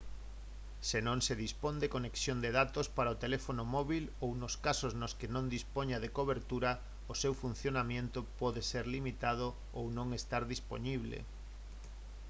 se non se dispón de conexión de datos para o teléfono móbil ou nos casos nos que non dispoña de cobertura o seu funcionamento pode ser limitado ou non estar dispoñible